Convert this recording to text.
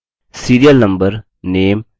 spoken tutorial project team